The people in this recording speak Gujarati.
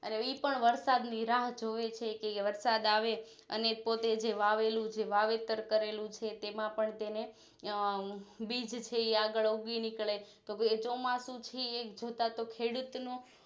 ઈપણ વરસાદ ની રાહ જોવે છે કે વરસાદ આવે અને પોતે જે વાવેલું જે વાવેતર કરેલું છે તેમાં પણ તેને બીજછે આગળ ઉગી નીકળે તોભઈ ચોમાસું થીએક જોતા ખેડૂત નું